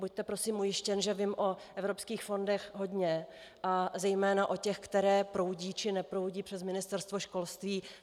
Buďte prosím ujištěn, že vím o evropských fondech hodně a zejména o těch, které proudí či neproudí přes Ministerstvo školství.